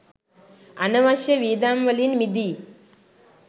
අනවශ්‍ය වියදම් වලින් මිදී